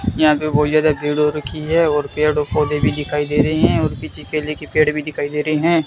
यहां पे बहुत ज्यादा भीड़ हो रखी है और पेड़ और पौधे भी दिखाई दे रहे हैं और पीछे केले के पेड़ भी दिखाई दे रहे हैं।